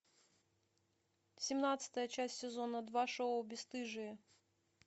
семнадцатая часть сезона два шоу бесстыжие